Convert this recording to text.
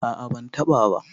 a a bantaba ba